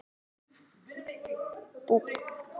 En ég sleppti langhlaupum og stangarstökki.